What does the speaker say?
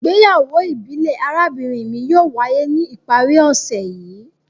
Igbeyawo ibile arabinrin mi yóò waye ni ipari ose yii